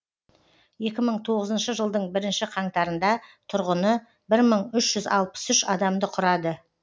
екі мың тоғызыншы жылдың бірінші қаңтарында тұрғыны бір мың үш жүз алпыс үш адамды құрады